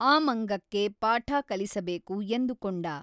ಆ ಮಂಗಕ್ಕೆ ಪಾಠ ಕಲಿಸಬೇಕು ಎಂದುಕೊಂಡ.